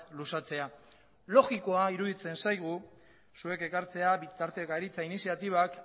luzatzea logikoa iruditzen zaigu zuek ekartzea bitartekaritza iniziatibak